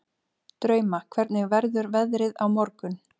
Drauma, hvernig verður veðrið á morgun?